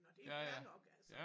Og det fair nok altså